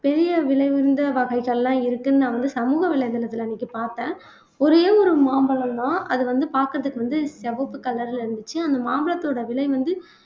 பெரிய விலை உயர்ந்த வகைகள்லாம் இருக்குன்னு நான் வந்து சமூக வலைதளத்திலே அன்னைக்கு பார்த்தேன் ஒரே ஒரு மாம்பழம் தான் அது வந்து பாக்குறதுக்கு வந்து வப்பு color ல இருந்துச்சு அந்த மாம்பழத்தோட விலை வந்து